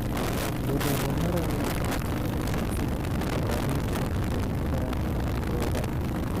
Iyadoo loo marayo waxbarashada ganacsiga, beeralaydu waxay kordhin karaan dakhligooda.